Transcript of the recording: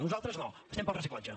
nosaltres no estem pel reciclatge